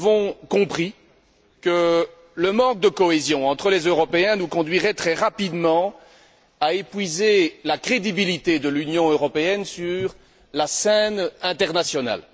Nous avons compris que le manque de cohésion entre les Européens nous conduirait très rapidement à épuiser la crédibilité de l'Union européenne sur la scène internationale.